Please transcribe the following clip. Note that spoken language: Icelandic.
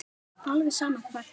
Alveg sama hvar það yrði.